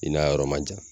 I n'a yɔrɔ man jan